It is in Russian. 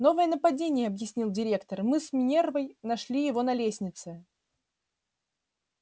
новое нападение объяснил директор мы с минервой нашли его на лестнице